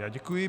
Já děkuji.